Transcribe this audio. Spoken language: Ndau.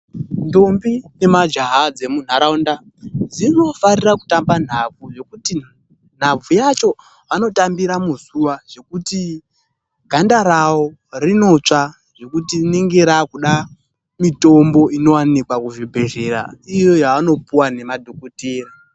Ndombi nemajaha dzemunharaunda , dzinofarire kutamba nhabvu .Yokuti nhabvu yacho vanotambira muzuva, zvekuti ganda rawo rinotsva. Zvokuti rinenge rave kuda mitombo inowanikwa kuzvibhedhlera iyo yavanopiwa nemadhokodheya.